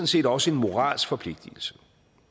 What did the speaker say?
set også en moralsk forpligtelse